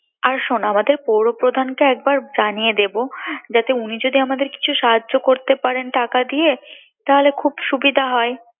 আর শোন আমদের পৌর প্রধান কে একবার জানিয়ে দেবো যাতে উনি যদি আমাদের কিছু সাহায্য করতে পারেন টাকা দিয়ে তাহলে খুব সুবিধা হয়